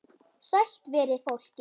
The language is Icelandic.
Sælt veri fólkið!